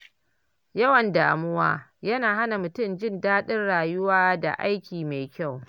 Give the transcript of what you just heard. Yawan damuwa yana hana mutum jin daɗin rayuwa da aiki mai kyau.